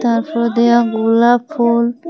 তারফর দেয়া গোলাপ ফুল।